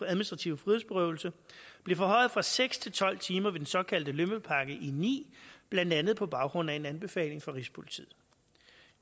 administrative frihedsberøvelser blev forhøjet fra seks til tolv timer med den såkaldte lømmelpakke i og ni blandt andet på baggrund af en anbefaling fra rigspolitiet